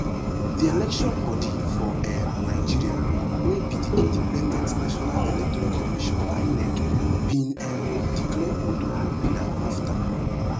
di election bodi for um nigeria wey be di independent national electoral commission inec bin um declare ododo winner afta